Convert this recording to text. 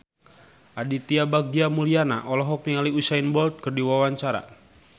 Aditya Bagja Mulyana olohok ningali Usain Bolt keur diwawancara